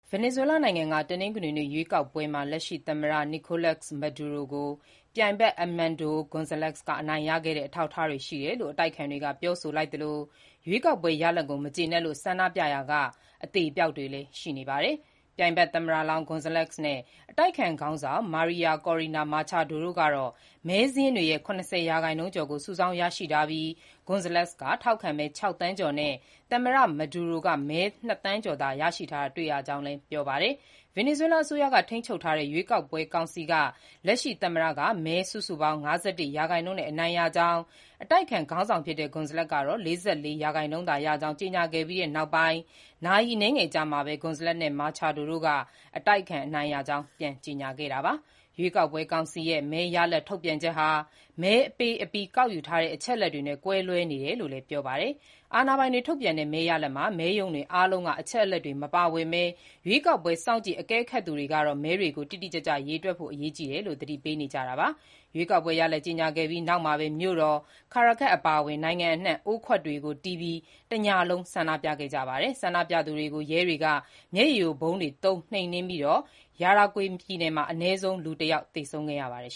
ဗင်နီဇွဲလားနိုင်ငံက တနင်္ဂနွေနေ့ ရွေးကောက်ပွဲမှာ လက်ရှိသမ္မတ Nicolás Maduro ကို ပြိုင်ဖက် Edmundo Gonzalez က အနိုင်ရခဲ့တဲ့ အထောက်အထားတွေ ရှိတယ်လို့ အတိုက်အခံတွေက ပြောဆိုလိုက်သလို၊ ရွေးကောက်ပွဲ ရလဒ်ကို မကျေနပ်လို့ ဆန္ဒပြရာက အသေအပျောက်တွေလည်း ရှိနေပါတယ်။ ပြိုင်ဖက်သမ္မတလောင်း Gonzalez နဲ့ အတိုက်အခံခေါင်းဆောင် Maria Corina Machado တို့ကတော့ မဲစာရင်းတွေရဲ့ ၇၀ ရာခိုင်နှုန်းကျော်ကို စုဆောင်းရရှိထားပြီး၊ Gonzalez က ထောက်ခံမဲ ၆ သန်းကျော်နဲ့ သမ္မတ Maduro ကမဲ ၂ သန်းကျော်သာရရှိတာ တွေ့ရကြောင်းလည်း ပြောပါတယ်။ ဗင်နီဇွဲလား အစိုးရက ထိန်းချုပ်ထားတဲ့ ရွေးကောက်ပွဲ ကောင်စီက လက်ရှိ သမ္မတက မဲစုစုပေါင်း ၅၁ ရာခိုင်နှုန်းနဲ့ အနိုင်ရကြောင်း အတိုက်အခံခေါင်းဆောင် ဖြစ်တဲ့ Gonzalez ကတော့ ၄၄ ရာခိုင်နှုန်းသာရကြောင်း ကြေညာခဲ့ပြီးတဲ့ နောက်ပိုင်း နာရီအနည်းငယ်အကြာမှာပဲ Gonzalez နဲ့ Machado တို့က အတိုက်အခံ အနိုင်ရကြောင်း ကြေညာခဲ့ကြတာပါ။ ရွေးကောက်ပွဲ ကောင်စီရဲ့ မဲရလဒ် ထုတ်ပြန်ချက်ဟာ မဲပေးအပြီး ကောက်ယူထားတဲ့ အချက်အလက်တွေနဲ့ ကွဲလွဲနေတယ်လို့လည်း ပြောပါတယ်။ အာဏာပိုင်တွေ ထုတ်ပြန်တဲ့ မဲရလဒ်မှာ မဲရုံတွေအားလုံးက အချက်အလက်တွေ မပါဝင်ဘဲ ရွေးကောက်ပွဲ စောင့်ကြည့် အကဲခတ်သူတွေကတော့ မဲတွေကို တိတိကျကျ ရေတွက်ဖို့ အရေးကြီးတယ်လို့ သတိပေးနေကြတာပါ။ ရွေးကောက်ပွဲရလဒ် ကြေညာခဲ့ပြီးနောက်မှာပဲ မြို့တော် Caracas အပါအဝင် နိုင်ငံအနှံ့ အိုးခွက်တွေကိုတီးပြီး တညလုံး ဆန္ဒပြခဲ့ကြပါတယ်။ ဆန္ဒပြသူတွေကို ရဲတွေက မျက်ရည်ယိုဗုံးတွေသုံး နှိမ်နင်းခဲ့ပြီး Yaracuy ပြည်နယ်မှာ အနည်းဆုံး လူ ၁ ယောက် သေဆုံးခဲ့ပါတယ်